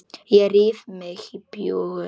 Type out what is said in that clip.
Ég ríf í mig bjúgun.